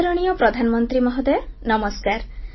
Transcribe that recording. ଆଦରଣୀୟ ପ୍ରଧାନମନ୍ତ୍ରୀ ମହୋଦୟ ନମସ୍କାର